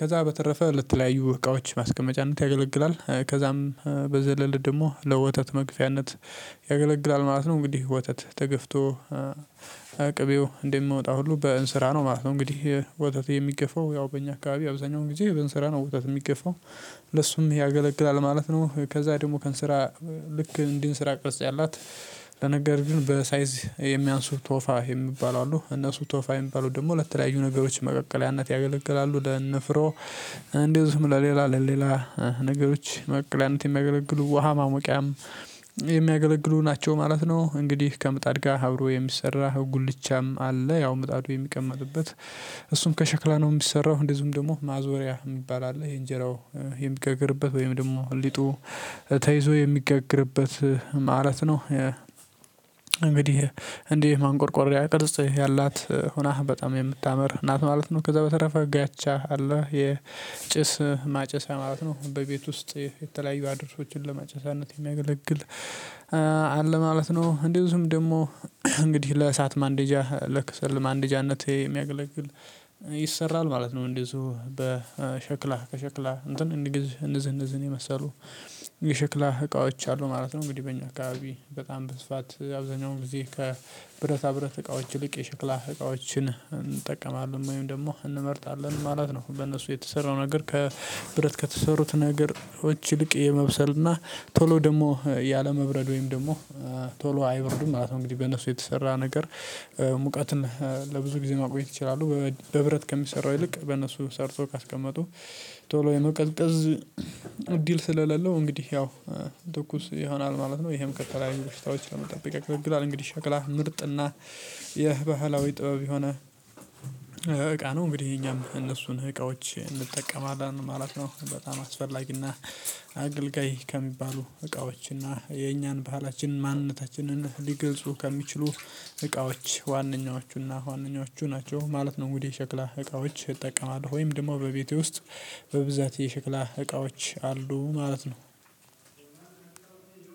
ከዛ በተረፈ ለትለያዩ እቃዎች ማስቀመጫነት ያገለግላል። ከዛም በዘለል ደግሞ ለወተት መግፊያነት ማለት ነው። እንግዲህ ወተት ተገፍቶ ቅቤው እንደምወጣ ሁሉ በእንስራ ነው ማለት ነው። እንግዲህ ወተት የሚገፋው ያው በእኛ አካባቢ አብዛኛው ጊዜ በእንስራ ነው ወተት የሚገፋው። ለሱም ያገለግላል ማለት ነው። ከዛ ደግሞ ከንስራ ልክ እንደ እንስራ ቅርጽ ያላት ነገር ግን በሳይዝ የሚያንሱ ቶፋ የሚባሉ አሉ እነሱ ቶፋ የሚባሉ ደግሞ ለተለያዩ ነገሮች መቀቀያነት ያገለግላሉ ለን ፍሮ እንዲሁም ለሌላ ለሌላ ነገሮች መቀቀያነት የሚያገለግሉ ውሃ ማሞቂያም የሚያገለግሉ ናቸው ማለት ነው። እንግዲህ ከምጣድ ጋር አብሮ የሚሰራ ጉልቻም አለ ያው ምጣዱ የሚቀመጥበ፤ እሱም ከሸክላ ነው የሚሰራው እንደዚሁም ደግሞ ማዞሪያ የሚባል አለ የእንጀራው የሚጋግርበት ወይም ደግሞ ሊጡ ተይዞ የሚገግርበት ማለት ነው። እንግዲህ እንዲደ ማንቆርቆሪያ ቅርጽ ያላት ሆና በጣም የምታምር እናት ማለት ነው ከዛ በተረፈ ጋቻ አለ የጭስ ማጨሳ ማለት ነው። በቤት ውስጥ የተለያዩ አድሮሶችን ለማጨሳነት የሚያገለግል አለ ማለት ነው እንደውም ደግሞ እንግዲህ ለእሳት ማንደጃ ለክሰል ማንደጃነቴት የሚያገለግል ማለት ነው እንደዚሁ በሸክላ ከሸክላ እንትን እንደዚህ እንደዚህ ነው የመሰሉ እቃዎች አሉ ማለት ነው እንግዲህ በእኛ አካባቢ በጣም በስፋት አብዛኛው ጊዜ ከብረታ ብረት እቃዎች ይልቅ የሽክላ እቃዎችን እንጠቀማለን ወይም ደግሞ እንመርጣለን ማለት ነው። በእነሱ የተሰራው ነገር ከብረት ከተሰሩት ነገሮች ይልቅ የመብሰል እና ቶሎ ደግሞ ያለመብረድ ወይም ደግሞ ቶሎ አይበርዱም ማለት ነው እንግዲህ በእነሱ የተሰራ ነገር ሙቀትን ለብዙ ጊዜ ማቆየት ይችላሉ። በብረት ከሚሰራው ይልቅ በእነሱ ሰርቶ ካስቀመጡ ቶሎ የመቀዝቀዝ እድል ስለሌለው እንግዲህ ያው ትኩስ ይሆናል ማለት ነው። ይሄም ከተለያዩ ቡሽታዎች ለመጠበቅ ያገለግላል። እንግዲህ ሸክላ ምርጥና የባህላዊ ጥበብ የሆነ እቃ ነው እንግዲህ የኛም እነሱን እቃዎች እንጠቀማለን ማለት ነው በጣም አስፈላጊና አገልጋይ ከሚባሉ እቃዎችና የኛን ባህላችን ማንነታችንን ሊገልጹ ከሚችሉ እቃዎች ዋነኞቹና ዋነኞቹ ናቸው ማለት ነው። እንግዲህ የሽክላ እቃዎች እጠቀማለሁ ወይም ደግሞ በቤቴ ውስጥ በብዛት የሸክላ እቃዎች አሉ ማለት ነው።